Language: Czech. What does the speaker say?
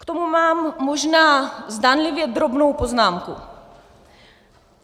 K tomu mám možná zdánlivě drobnou poznámku.